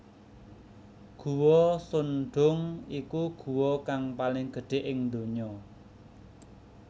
Guwa Son Doong iku guwa kang paling gedhe ing ndonya